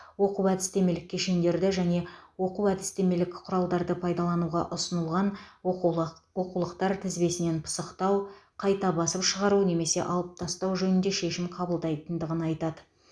оқу әдістемелік кешендерді және оқу әдістемелік құралдарды пайдалануға ұсынылған оқулық оқулықтар тізбесінен пысықтау қайта басып шығару немесе алып тастау жөнінде шешім қабылдайтындығын айтады